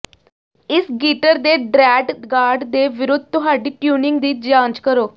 ਇਸ ਗੀਟਰ ਦੇ ਦ੍ਰੈਡ ਗਾਡ ਦੇ ਵਿਰੁੱਧ ਤੁਹਾਡੀ ਟਿਊਨਿੰਗ ਦੀ ਜਾਂਚ ਕਰੋ